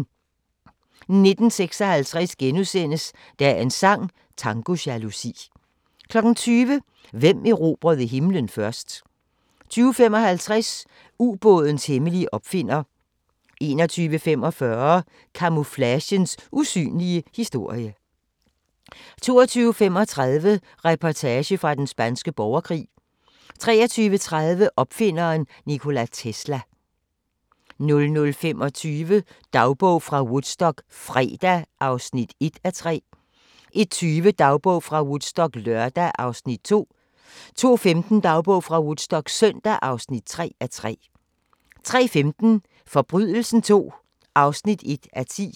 19:56: Dagens sang: Tango jalousi * 20:00: Hvem erobrede himlen først? 20:55: Ubådens hemmelige opfinder 21:45: Camouflagens usynlige historie 22:35: Reportage fra Den Spanske Borgerkrig 23:30: Opfinderen Nikola Tesla 00:25: Dagbog fra Woodstock - fredag (1:3) 01:20: Dagbog fra Woodstock - lørdag (2:3) 02:15: Dagbog fra Woodstock - søndag (3:3) 03:15: Forbrydelsen II (1:10)